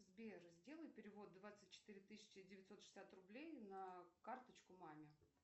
сбер сделай перевод двадцать четыре тысячи девятьсот шестьдесят рублей на карточку маме